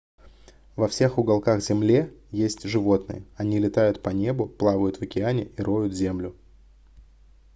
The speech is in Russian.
во всех уголках земле есть животные они летают по небу плавают в океане и роют землю